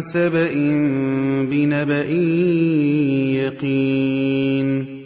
سَبَإٍ بِنَبَإٍ يَقِينٍ